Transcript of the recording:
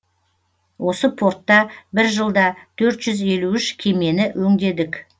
осы портта бір жылда төрт жүз елу үш кемені өңдедік